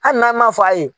Hali n'an m'a fɔ a ye